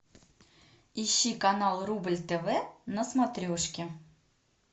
ищи канал рубль тв на смотрешке